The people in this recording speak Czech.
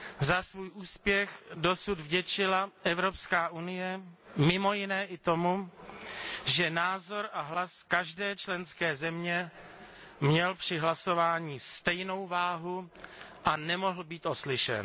Za svůj úspěch dosud vděčila Evropská unie mimo jiné i tomu, že názor a hlas každé členské země měl při hlasování stejnou váhu a nemohl být oslyšen.